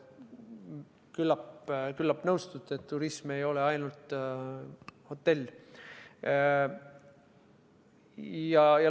Küllap nõustute, et turism ei ole ainult hotell.